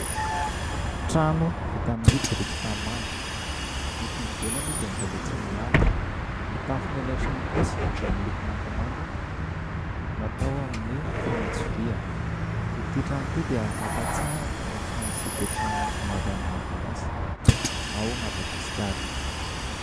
Trano vita amin'ny biriky tanimanga, ny aty ivelany dia mbola tsy milalotra. Ny tafon'ilay trano kosa dia miloko mangamanga natao amin'ny fanitso vy. Ity trano ity dia mampahatsiaro ny trano izay hipetrahany ny ankamaroan'ny malagasy ao Madagasikara.